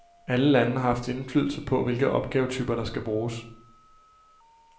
Alle lande har haft indflydelse på, hvilke opgavetyper, der skal bruges.